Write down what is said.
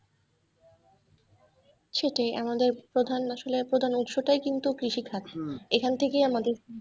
সেটাই আমাদের প্রধান আসলে প্রধান উৎস টাই কিন্তু কৃষিখাত এখান থেকেই আমাদের।